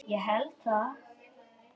Ég held það,